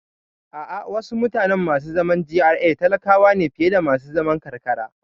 A'a, wasu mutane masu zaman GRA talakawa ne fiye da masu zaman karkara